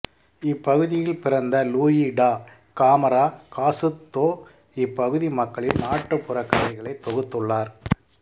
இப்பகுதியில் பிறந்த Luis da Camara Cascudo இப்பகுதி மக்களின் நாட்டுப்புறக் கதைகளை தொகுத்துள்ளார்